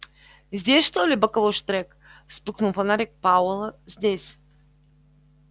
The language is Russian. здесь что ли боковой штрек вспыхнул фонарик пауэлла здесь